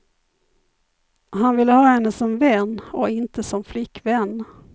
Han vill ha henne som vän och inte som flickvän.